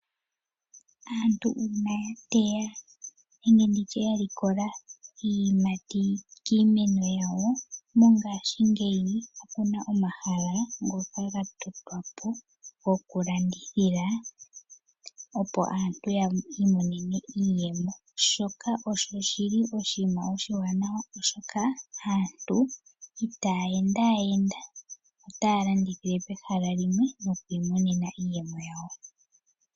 Aantu uuna ya teya nenge nditye ya likola iiyimati kiimeno yawo. Mongashingeyi opuna omahala ngoka ga tulwa po gokulandithila opo aantu yii monene iiyemo. Shoka osho shi li oshiima oshiwanawa oshoka aantu itaa enda enda, otaa landithile pehala limwe nokwiimonena iiyemo yawo.